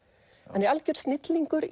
hann er algjör snillingur